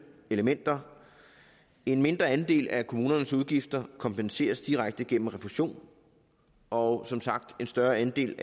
elementer en mindre andel af kommunernes udgifter kompenseres direkte gennem refusion og som sagt en større andel